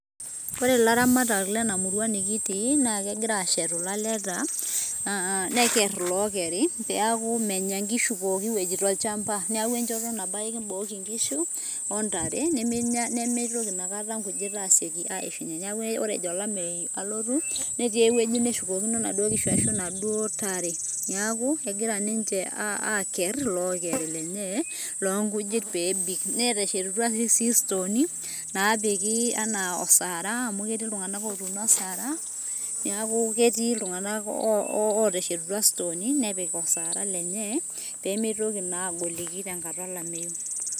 Ore ilaramatak lenamurua nikitii, na kegira ashetu ilaleta, neker ilokerri peaku menya nkishu pooki wueji tolchamba. Neeku enchoto nabo ake kibooki nkishu, ontare. Nimitoki na akata nkujit aseki aishunye. Neeku ore ejo olameyu alotu, netii ewueji neshukokino naduo kishu ashu naduo tare. Neeku, egira ninche aakerr ilokeri lenye, loonkujit peebik. Neteshetutua toi stooni, napiki anaa osara amu etii iltung'anak otuuno asara, neeku ketii iltung'anak oteshetutua stooni nepik osara lenye, pemitoki naa agoliki tenkata olameyu.